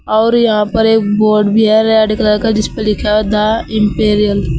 और यहां पर एक बोर्ड भी है रेड कलर का जिसपे लिखा द इंपीरियल ।